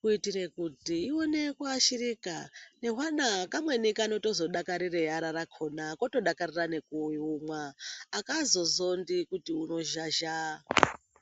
kuitire kuti ione kuashirika ngehwana kamweni kanotozodakarire ara rakhona kotodakarira nekuumwa, akazozondi kuti unozhazha.